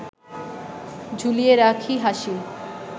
ঝুলিয়ে রাখি হাসি